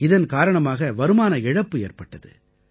இதன் காரணமாக வருமான இழப்பு ஏற்பட்டது